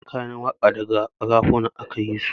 Yawancin kayan waƙa daga ƙarafuna aka yisu